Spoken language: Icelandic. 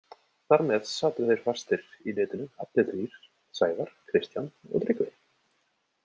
Þar með sátu þeir fastir í netinu allir þrír, Sævar, Kristján og Tryggvi.